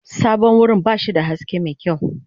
Sabon wurin ba shi da haske mai kyau.